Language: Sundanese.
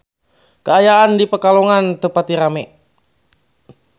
Kaayaan di Pekalongan teu pati rame